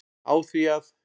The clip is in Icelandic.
á því að